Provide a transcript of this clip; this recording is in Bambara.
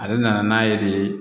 Ale nana n'a ye de